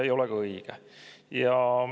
Ei ole ka õige.